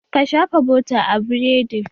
Ka shafa bota a biredin!